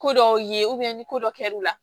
Ko dɔw ye ni ko dɔ kɛr'u la